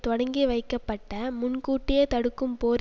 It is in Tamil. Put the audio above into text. தொடங்கிவைக்கப்பட்ட முன்கூட்டியே தடுக்கும் போர்